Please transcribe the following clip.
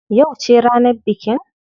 Yauce ne ranar bikin?